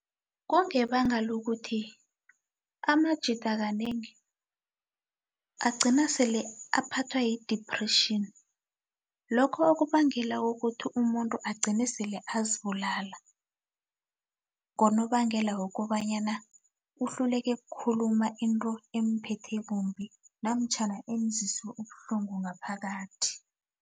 Kungebanga lokuthi amajida kanengi agcina sele aphathwa yi-depression lokho okubangela kukuthi umuntu agcine sele azibulala ngonobangela wokobanyana uhluleke khuluma into emuphethe kumbi namtjhana emuzwise ubuhlungu ngaphakathi.